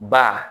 Ba